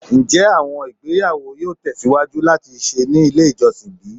Njẹ awọn igbeyawo yoo tẹsiwaju lati ṣe ni ile ijọsin bi?